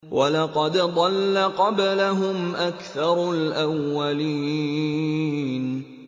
وَلَقَدْ ضَلَّ قَبْلَهُمْ أَكْثَرُ الْأَوَّلِينَ